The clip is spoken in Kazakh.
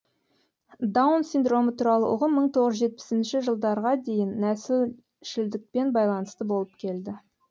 даун синдромы туралы ұғым мың тоғыз жүз жетпісінші жылдарға дейін нәсілшілдікпен байланысты болып келді